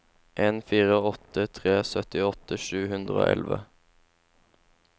en fire åtte tre syttiåtte sju hundre og elleve